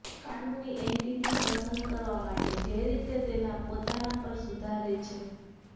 કાનૂની એન્ટિટી પસંદ કરવા માટે જે રીતે તેના પોતાના પર સુધારે છે